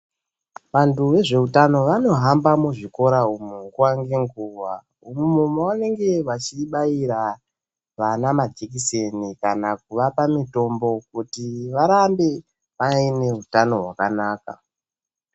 Vantu vezveutano vanohamba muzvikora umo nguwa ngenguwa. Umo mevanenge vachibaira vana majekiseni kana kuvapa mitombo kuti varambe vaine utano hwakanaka.